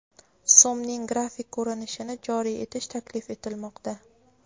So‘mning grafik ko‘rinishini joriy etish taklif etilmoqda.